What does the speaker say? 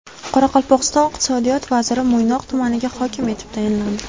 Qoraqalpog‘iston Iqtisodiyot vaziri Mo‘ynoq tumaniga hokim etib tayinlandi.